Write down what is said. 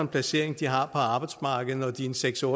placering de har på arbejdsmarkedet når de er seks og